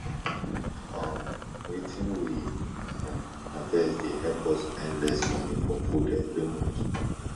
um wetin we um harvest dey help us spend less money for food every month